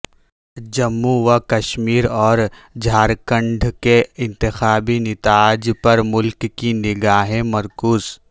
جموں و کشمیر اور جھار کھنڈ کے انتخابی نتائج پر ملک کی نگاہیں مرکوز